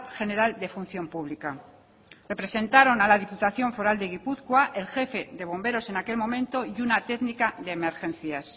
general de función pública se representaron a la diputación foral de gipuzkoa el jefe de bomberos en aquel momento y una técnica de emergencias